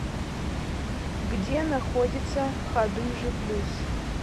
где находится хадыжи плюс